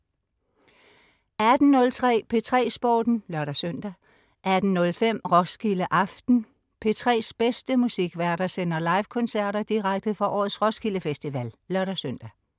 Christina Høier 18.03 P3 Sporten (lør-søn) 18.05 Roskilde aften. P3s bedste musikværter sender live-koncerter direkte fra årets Roskilde Festival (lør-søn)